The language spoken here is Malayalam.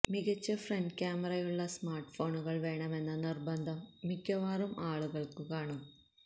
മികച്ച ഫ്രണ്ട് ക്യാമറയുള്ള സ്മാർട്ട്ഫോണുകൾ വേണമെന്ന നിർബന്ധം മിക്കവാറും ആളുകൾക്ക് കാണും